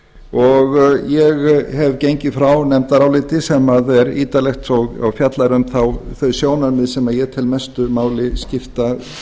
og ég hef gengið frá nefndaráliti sem er ítarlegt og fjallar um þau sjónarmið sem ég tel mestu máli skipta hvað þetta